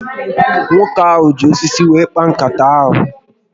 Nwoke ahụ ji osisi were kpaa nkata ahụ